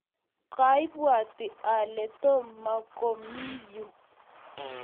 kaibwatii ale Tom mokomii yu.